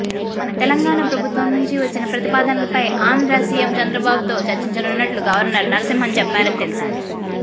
తెలంగాణ ప్రభుత్వం నుంచి వచ్చిన ప్రతిపాదనలపై ఆంధ్ర సిఎం చంద్రబాబుతో చర్చించనున్నట్టు గవర్నర్ నరసింహన్ చెప్పారని తెలిసింది